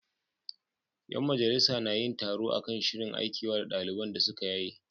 Yan majalisar na yin taro kan shirin Aikewa da daliban da suka yaye.